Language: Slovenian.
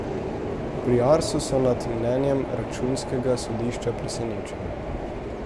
Pri Arsu so nad mnenjem računskega sodišča presenečeni.